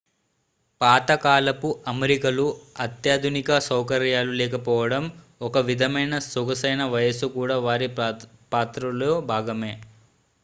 పాత కాలపు అమరికలు అత్యాధునిక సౌకర్యాలు లేకపోవడం ఒక విధమైన సొగసైన వయసు కూడా వారి పాత్రలో భాగమే